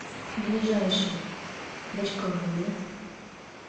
ближайший бочковое